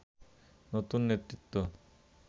নতুন নেতৃত্ব